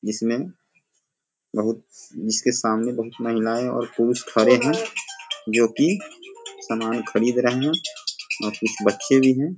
जिसमें बहुत जिसके सामने बहुत महिला है और पुरुष खड़े हैं जो की सामान खरीद रहें हैं और कुछ बच्चे भी हैं।